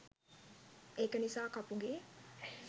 ඒක නිසා කපුගේ